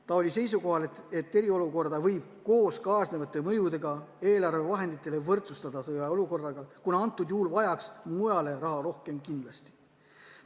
Ta oli seisukohal, et eriolukorda võib koos kaasnevate mõjudega eelarvevahenditele võrdsustada sõjaolukorraga ja praegusel juhul vajatakse seda raha mujal kindlasti rohkem.